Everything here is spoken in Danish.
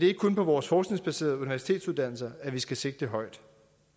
ikke kun på vores forskningsbaserede universitetsuddannelser at vi skal sigte højt